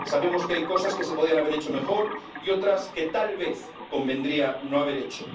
Sabemos que hay cosas que se podían haber hecho mejor y otras que tal vez convendría no haber hecho.